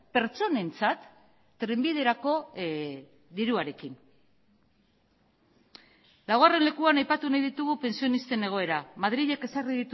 pertsonentzat trenbiderako diruarekin laugarren lekuan aipatu nahi ditugu pentsionisten egoera madrilek ezarri